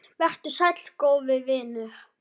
Vertu sæll, góði vinur.